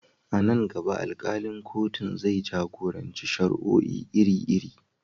A nan gaba, alkalin kotun zai jagoranci shari'o'i iri-iri.